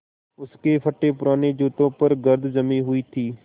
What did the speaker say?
उसके फटेपुराने जूतों पर गर्द जमी हुई थी